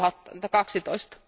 2012,